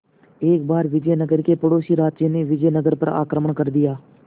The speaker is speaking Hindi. एक बार विजयनगर के पड़ोसी राज्य ने विजयनगर पर आक्रमण कर दिया